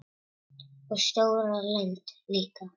Og stóra lund líka.